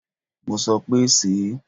Mo sọ pé, sèé.!